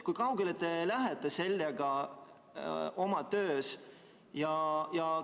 Kui kaugele te sellega oma töös lähete?